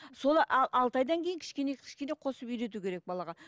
соны алты айдан кейін кішкене кішкене қосып үйрету керек балаға